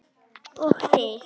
Og þig.